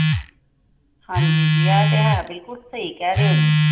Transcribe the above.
ਹਾਂ ਜੀ ਇਹ ਤੇ ਹੈ ਬਿੱਲਕੁੱਲ ਸਹੀ ਕਹਿ ਰਹੇ ਹੋ ਤੁਸੀ।